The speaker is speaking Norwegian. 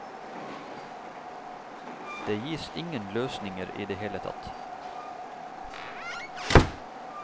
Det gis ingen løsninger i det hele tatt.